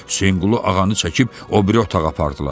Hüseynqulu ağanı çəkib o biri otağa apardılar.